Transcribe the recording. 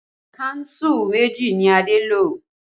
Kánsù méjì ni Adé lo